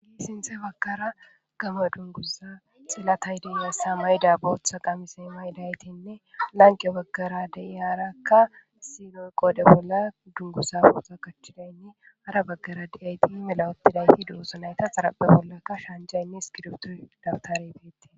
sinthe baggara gama dungusa xillatay deiyassa mayda bootha qamise maydaytinne lanqe baggara deyiyarakka siloy qoodhe bolla dungusa foota kachchidaynne ara baggara de'ayti melawotidayti dugusanayta xarape bollakka shaanjaynne iskiruftu dabtaribeti